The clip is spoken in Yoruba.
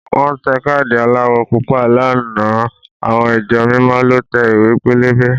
Wọ́n tẹ káàdì aláwọ̀ Pupa lánàá àwọn ìjọ mímọ lọ tẹ ìwé pélébé